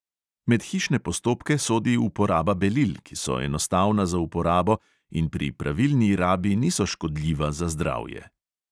Med hišne postopke sodi uporaba belil, ki so enostavna za uporabo in pri pravilni rabi niso škodljiva za zdravje.